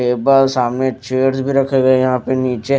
table सामने chairs भी रखे गए यहां पे नीचे--